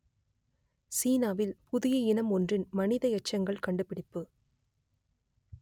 சீனாவில் புதிய இனம் ஒன்றின் மனித எச்சங்கள் கண்டுபிடிப்பு